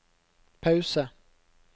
pause